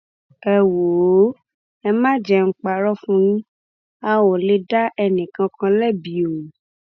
ẹ wòó ẹ má jẹ ń parọ fún yín ọ a ò lè dá ẹnìkankan lẹbi o